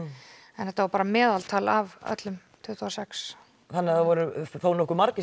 þetta var bara meðaltal af öllum tuttugu og sex það voru þá þónokkuð margir